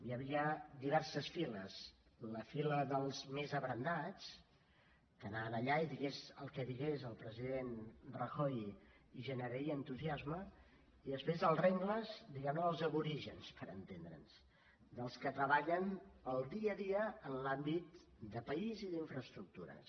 hi havia diverses files la fila dels més abrandats que anaven allà i digués el que digués el president rajoy els generaria entusiasme i després els rengles diguem ne dels aborígens per entendre’ns dels que treballen el dia a dia en l’àmbit de país i d’infraestructures